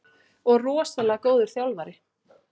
Og rosalega góður þjálfari.